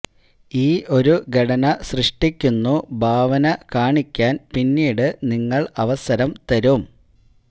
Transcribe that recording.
ഈ ഒരു ഘടന സൃഷ്ടിക്കുന്നു ഭാവന കാണിക്കാൻ പിന്നീട് നിങ്ങൾ അവസരം തരും